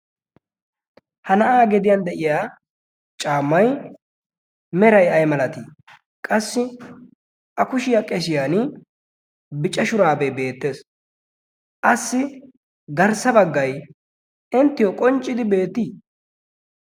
Ha na'aa gediyan de'iya caammay meray ay malatii? Qassi a kushiyaa qeshiyan bicca shuraabee beettees. Assi garssa baggay inttiyo qonccidi beettii?